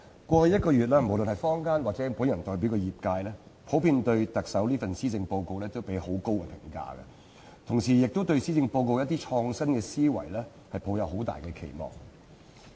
過去一個月，無論是坊間，還是我代表的業界，普遍對特首這份施政報告給予很高評價，同時亦對施政報告的一些創新思維抱有很大期望。